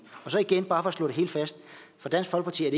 så igen bare for at slå det helt fast for dansk folkeparti er